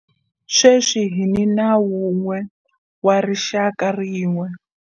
Sweswi hi ni nawu wun'we wa rixaka rin'we.